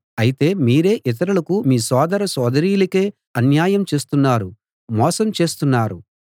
అయితే మీరే ఇతరులకు మీ సోదర సోదరీలకే అన్యాయం చేస్తున్నారు మోసం చేస్తున్నారు